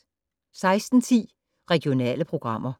16:10: Regionale programmer